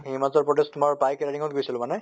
হিমাচল প্ৰদেশ তোমাৰ bike riding ত গৈছিলো মানে